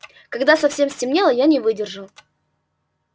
когда совсем стемнело я не выдержал